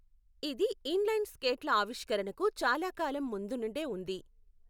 ఇది ఇన్లైన్ స్కేట్ల ఆవిష్కరణకు చాలా కాలం ముందు నుండే ఉంది.